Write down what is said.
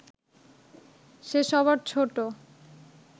সে সবার ছোট